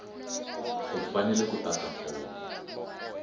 u fanele ku tata fomo